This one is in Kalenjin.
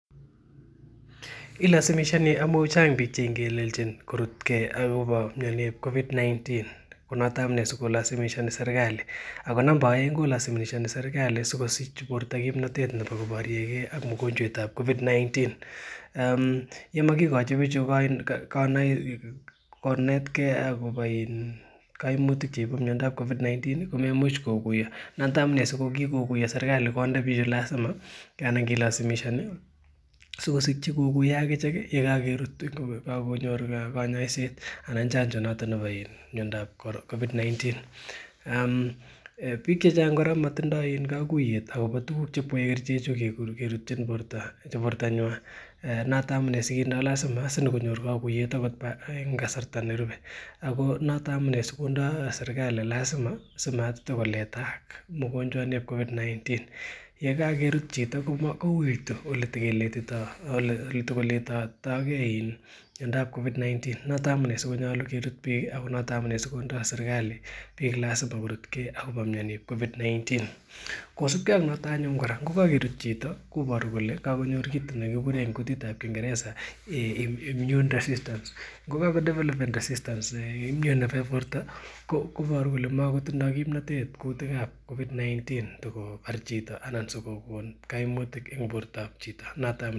Ilazimishani amu chang piik chengeleljin korutgei akobo mioniip covid-19 ko noto amune sikolazimishani serikali ako namba oeng kolazimishani sikosich borto kimnatet nebo koboriekei ak mokonjwetab covid-19 ye makikochi pichu konetkei akobo kaimutik cheibu miondoab covid-19 komeimuch kokuyo noto amune sikokikokuyo serikali konde piik lazima ana kilazimishani sikosikchi kokuyo akichek yekakerut kokakonyor kanyaishet anan chanjo noto bo miondoab covid-19 piik chechang kora komatindoi kakuiyet akobo tukuk cheipwech kerchechu kerutchin borto nyuai noto une sikinde lazima sinyikonor kakuiyet akot eng kasarta nerubei ako noto amune sikondoi serikali lazima simatkotikoletaak mogonjwaniip covid-19 yekakerut chito kouitu ole tekoletotokei miondoab covid-19 noto amune sikonyolu kerut piik ako noto amune sikondoi serikali piik lazima korutgei akobo mioniip covid-19 kosupkei ak noto anyun kora ngokakerut chito koboru kole kakonyor kiit nekikure eng kutitab kingeresa immune desistance ngokakodevelopen desistance immune nebo borto koboru kole makotinsoi kimnotet kutikab covid-19 tikobar chito anan tikokon kaimutik eng borto ab chito.